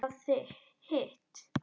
Hefurðu málað hitt?